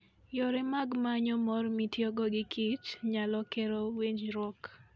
Yore mag manyo mor mitiyogo gi kich, nyalo kelo winjruok.